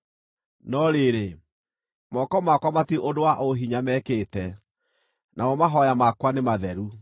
no rĩrĩ, moko makwa matirĩ ũndũ wa ũhinya mekĩte namo mahooya makwa nĩ matheru.